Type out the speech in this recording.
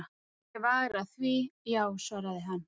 Ég var að því, já, svaraði hann.